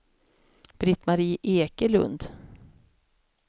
Britt-Marie Ekelund